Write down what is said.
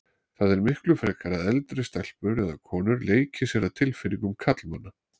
Það er miklu frekar að eldri stelpur eða konur leiki sér að tilfinningum karlmanna.